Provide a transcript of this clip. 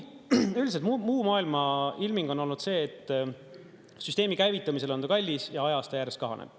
Üldiselt muu maailma ilming on olnud see, et süsteemi käivitamisel on olnud ta kallis ja ajas ta järjest kahaneb.